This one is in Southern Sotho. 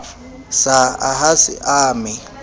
sa a ha se ame